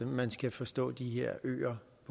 man skal forstå de her øer